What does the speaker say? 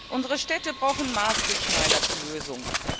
Unsere Städte brauchen maßgeschneiderte Lösungen.